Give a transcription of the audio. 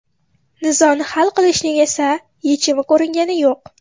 Nizoni hal qilishning esa yechimi ko‘ringani yo‘q.